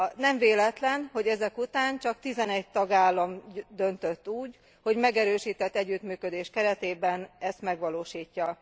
Nem véletlen, hogy ezek után csak 11 tagállam döntött úgy, hogy megerősített együttműködés keretében ezt megvalósítja.